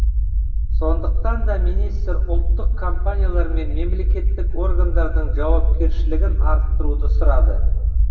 сондықтан да министр ұлттық компаниялар мен мемлекеттік органдардың жауапкершілігін арттыруды сұрады